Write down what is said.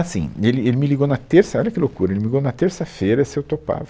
Assim, ele, ele me ligou na terça, olha que loucura, ele me ligou na terça-feira se eu topava.